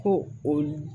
Ko o